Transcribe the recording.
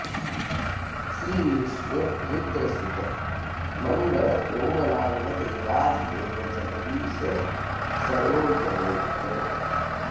श्रीविष्णु रुद्र सुत मङ्गळ कोमलाङ्ग देवाधिदेव जगदीश सरोजनेत्र